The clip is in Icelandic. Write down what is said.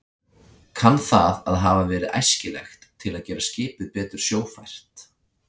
Kann það að hafa verið æskilegt til að gera skipið betur sjófært.